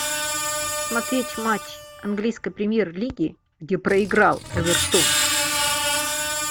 смотреть матч английской премьер лиги где проиграл эвертон